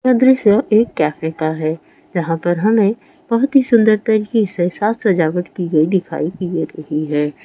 यह दृश्य एक कैफ़े का है जहाँ पर हमे बहुत ही सुन्दर तरीके से साग सजावट कि गई दिखाई दे रही है।